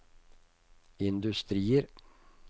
industrier